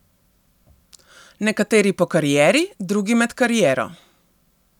Nekateri po karieri, drugi med kariero.